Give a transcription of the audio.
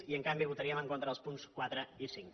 i en canvi votaríem en contra dels punts quatre i cinc